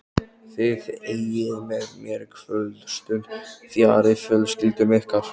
Þið eyðið með mér kvöldstund fjarri fjölskyldum ykkar.